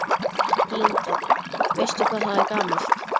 Linda: Veistu hvað það er gamalt?